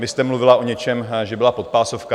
Vy jste mluvila o něčem, že byla podpásovka.